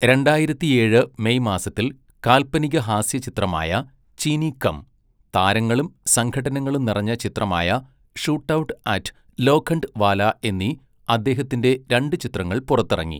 രണ്ടായിരത്തിയേഴ് മെയ് മാസത്തിൽ കാല്പനികഹാസ്യചിത്രമായ ചീനീ കം, താരങ്ങളും സംഘട്ടനങ്ങളും നിറഞ്ഞ ചിത്രമായ ഷൂട്ടൗട്ട് അറ്റ് ലോഖണ്ഡ് വാല എന്നീ അദ്ദേഹത്തിൻ്റെ രണ്ടു ചിത്രങ്ങൾ പുറത്തിറങ്ങി.